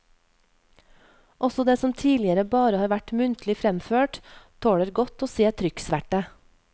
Også det som tidligere bare har vært muntlig fremført tåler godt å se trykksverte.